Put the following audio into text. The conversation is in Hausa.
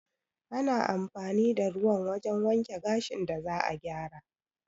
Ana amfani da ruwan wajen wanke gashin da za'a gyara